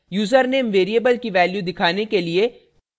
username variable की value दिखाने के लिए